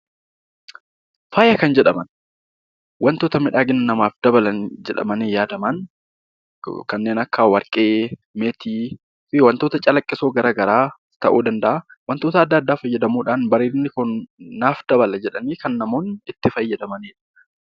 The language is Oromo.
Faaya kan jedhaman wantoota miidhagina namaaf dabalan jedhamanii yaadaan kanneen akka warqee, meetii fi wantoota calaqqisoo garaagaraa ta'uu danda'a. Wantoota adda addaa fayyadamuudhaan bareedinni Kun naaf dabala jedhanii kan namoonni itti fayyadamanidha.